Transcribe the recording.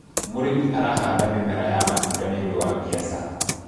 mũrĩmi arahanda mĩmera ya matunda nĩũndũ wa biashara